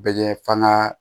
Bɛ f'an ga